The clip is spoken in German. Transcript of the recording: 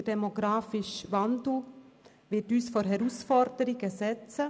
Der demografische Wandel wird uns vor Herausforderungen stellen: